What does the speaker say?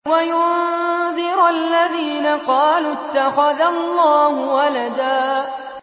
وَيُنذِرَ الَّذِينَ قَالُوا اتَّخَذَ اللَّهُ وَلَدًا